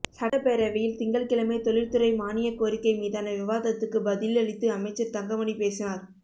சட்டப்பேரவையில் திங்கள்கிழமை தொழில்துறை மானியக் கோரிக்கை மீதான விவாதத்துக்கு பதில் அளித்து அமைச்சர் தங்கமணி பேசினார்